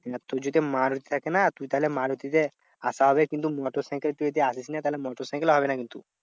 না তুই যদি মারুতি থাকে না? তুই তাহলে মারুতিতে আসা হবে। কিন্তু মোটর সাইকেলে তুই যদি আসিস না? তাহলে মোটর সাইকেলে হবে না কিন্তু।